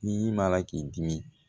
Ni m'a la k'i dimi